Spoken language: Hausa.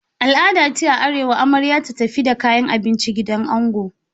Al'ada ce a arewa amarya ta tafi da kayan abinci gidan ango.